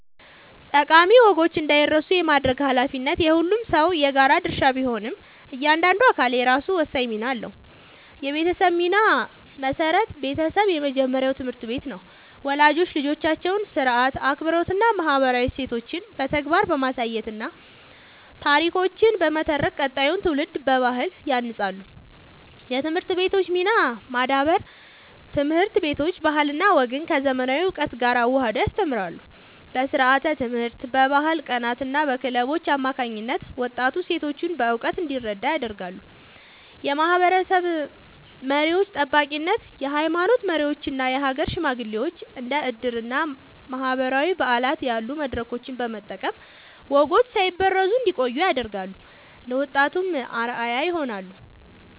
ጠቃሚ ወጎች እንዳይረሱ የማድረግ ኃላፊነት የሁሉም ሰው የጋራ ድርሻ ቢሆንም፣ እያንዳንዱ አካል የራሱ ወሳኝ ሚና አለው፦ የቤተሰብ ሚና (መሠረት)፦ ቤተሰብ የመጀመሪያው ትምህርት ቤት ነው። ወላጆች ልጆቻቸውን ሥርዓት፣ አክብሮትና ማህበራዊ እሴቶችን በተግባር በማሳየትና ታሪኮችን በመተረክ ቀጣዩን ትውልድ በባህል ያንጻሉ። የትምህርት ቤቶች ሚና (ማዳበር)፦ ትምህርት ቤቶች ባህልና ወግን ከዘመናዊ እውቀት ጋር አዋህደው ያስተምራሉ። በስርዓተ-ትምህርት፣ በባህል ቀናትና በክለቦች አማካኝነት ወጣቱ እሴቶቹን በእውቀት እንዲረዳ ያደርጋሉ። የማህበረሰብ መሪዎች (ጠባቂነት)፦ የሃይማኖት መሪዎችና የሀገር ሽማግሌዎች እንደ ዕድርና ማህበራዊ በዓላት ያሉ መድረኮችን በመጠቀም ወጎች ሳይበረዙ እንዲቆዩ ያደርጋሉ፤ ለወጣቱም አርአያ ይሆናሉ።